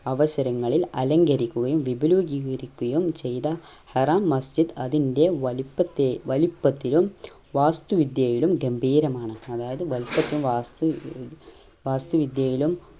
അവസരങ്ങളിൽ അലങ്കരിക്കുകയും വിബലുജീകരിക്കുകയും ചെയ്ത ഹറാം മസ്ജിദ് അതിന്റെ വലിപ്പത്തെ വലിപ്പത്തിലും വാസ്തു വിദ്യയിലും ഗംഭീരമാണ് അതായത് വെൽപതു വസ്തു ഏർ വസ്തു വിദ്യയിലും